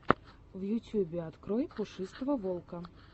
в ютьюбе открой пушистого волка